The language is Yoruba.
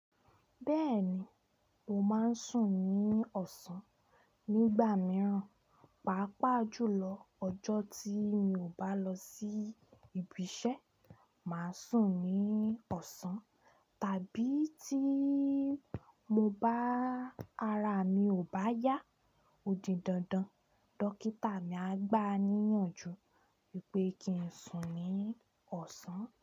Bẹ́ẹ̀ni, mo máa ń sùn ní ọ̀sán. Nígbà mìíràn, pàápàá jùlọ ọjọ́ tí mi ò bá lọ sí ibi iṣẹ́, màá sùn ní ọ̀sán tàbí tí mo bá-- ara mi ò bá yá odindandan, dókítà mi á gbáa níyànjú wípé kí ń sùn ní ọ̀sán.